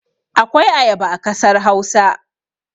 Akwai ayaba a kasar Hausa.